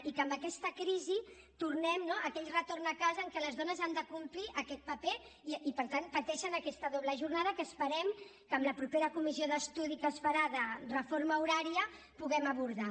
i que amb aquesta crisi tornem a aquell retorn a casa en què les dones han de complir aquest paper i per tant pateixen aquesta doble jornada que esperem que en la propera comissió d’estudi que es farà de reforma horària puguem abordar